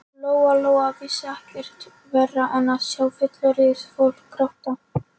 Lóa Lóa vissi ekkert verra en að sjá fullorðið fólk gráta.